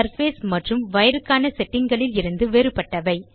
surface மற்றும் wire க்கான setting களில் இருந்து வேறுபட்டவை